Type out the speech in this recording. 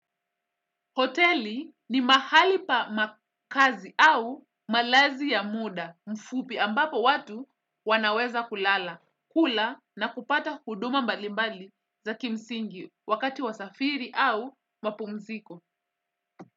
Hoteli ni mahali pa makazi au malazi ya muda mfupi ambapo watu wanaweza kulala, kula na kupata huduma mbali mbali za kimsingi wakati wa safiri au mapumziko.